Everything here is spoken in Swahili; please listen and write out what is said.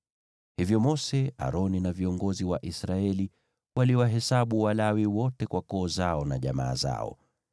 Hivyo Mose, Aroni na viongozi wa Israeli waliwahesabu Walawi wote kwa koo zao na jamaa zao.